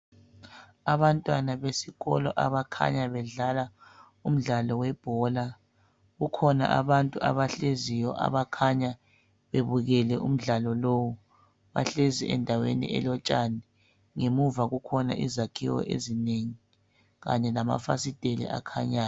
Abantwana besikolo abakhanya bedlala umdlalo webhola. Kukhona abantu abahleziyo abakhanya bebukele umdlalo lowu. Bahlezi endaweni elotshani. Ngemuva kukhona izakhiwo ezinengi kanye lamafasiteli akhanyayo.